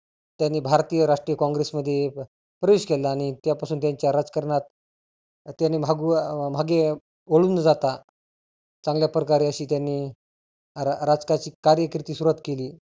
त्यांनी भारतीय राष्ट्रीय कॉंग्रेस मध्ये प्रवेश केला आणि त्या पासून त्याच्या राजकारणात त्यांनी म्हागु म्हागे वळु न जाता चांगल्या प्रकारे अशी त्यांनी रा राजकाची कार्य सुरुवात केली.